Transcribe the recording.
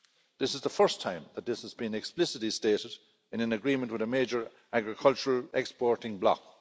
This is the first time that this has been explicitly stated in an agreement with a major agricultural exporting block.